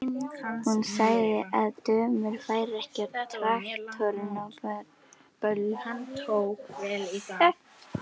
Hún sagði að dömur færu ekki á traktorum á böll.